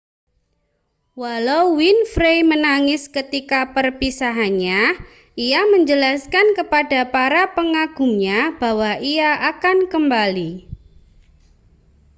walau winfrey menangis ketika perpisahannya ia menjelaskan kepada para pengagumnya bahwa ia akan kembali